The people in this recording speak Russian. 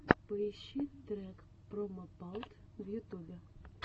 поищи трек промопалт в ютубе